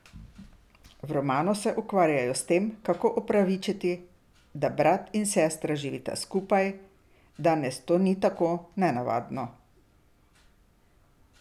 V romanu se zelo ukvarjajo s tem, kako opravičiti, da brat in sestra živita skupaj, danes to ni tako nenavadno.